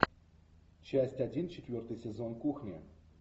часть один четвертый сезон кухня